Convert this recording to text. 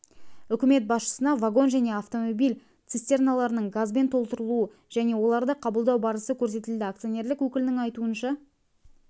үкімет басшысына вагон және автомобиль цистерналарының газбен толтырылу және оларды қабылдау барысы көрсетілді акционерлер өкілінің айтуынша